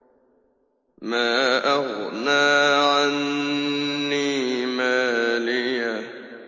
مَا أَغْنَىٰ عَنِّي مَالِيَهْ ۜ